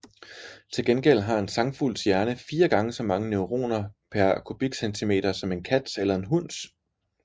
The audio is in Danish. Til gengæld har en sangfugls hjerne fire gange så mange neuroner pr cm3 som en kats eller en hunds